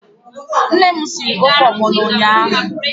Nne m sịrị ofe ogbono n'ụtụtụ.